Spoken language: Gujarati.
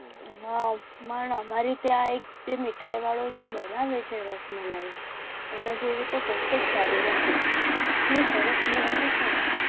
પણ હમારે ત્યાં મીઠાઈ વાળા તો જે બનાવે છે. રસમલાઈ એના જેવી નથી એટલી સરસ બનાવે છે. ને